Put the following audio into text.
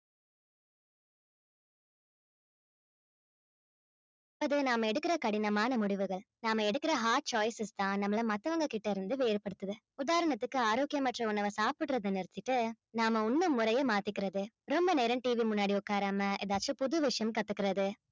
அது நாம எடுக்கற கடினமான முடிவுகள் நாம எடுக்கற hard choices தான் நம்மளை மத்தவங்ககிட்ட இருந்து வேறுபடுத்தது உதாரணத்துக்கு ஆரோக்கியமற்ற உணவை சாப்பிடுறதை நிறுத்திட்டு நாம உண்ணும் முறைய மாத்திக்கிறது ரொம்ப நேரம் TV முன்னாடி உட்காராம ஏதாச்சும் புது விஷயம் கத்துக்கிறது